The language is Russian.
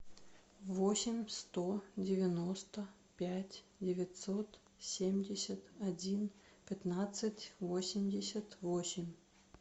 восемь сто девяносто пять девятьсот семьдесят один пятнадцать восемьдесят восемь